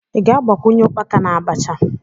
Ị ga-agbakwunye ukpaka na Abacha?